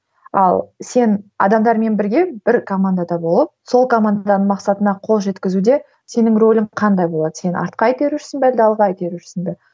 ал сен адамдармен бірге бір командада болып сол командада мақсатыңа қол жеткізуде сенің рөлің қандай болады сен артқа итерушісің бе әлде алдыға итерушісің бе